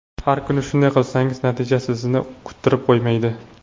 Har kuni shunday qilsangiz natijasi sizni kuttirib qo‘ymaydi.